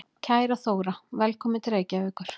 Kæra Þóra. Velkomin til Reykjavíkur.